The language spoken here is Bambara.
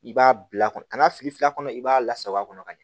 I b'a bila kɔnɔ ka n'a fili fil kɔnɔ i b'a lasaba a kɔnɔ ka ɲɛ